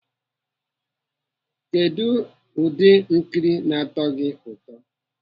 Kedụ ụdị nkiri na-atọ gị ụtọ?